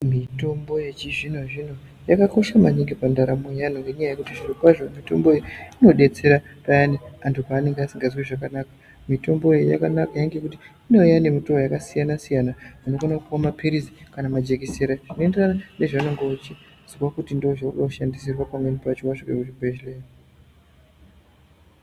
Mitombo yechizvinozvino yakakosha maningi pandaramo yevantu nekuti zviri kwazvo nekuti mitombo iyi inodetsera vantu pavanenge vasingazwi zvakanaka mitombo yakanaka nekuti inouya nemitoo yakasiyana siyana unokona kupuwa mapirizi kana majekiseni zvinoenderana nezvaunenge weizwa kuti ndozvaunoda kushandisirwa wazvika kuchibhehleya.